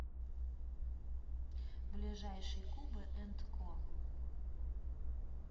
ближайший куба энд ко